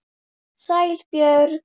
Sæl Björg.